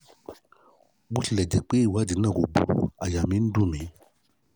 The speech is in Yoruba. bó tilẹ̀ jẹ́ pé ìwádìí náà kò burú àyà mi ń dùn